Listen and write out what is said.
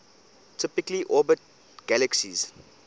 typically orbit galaxies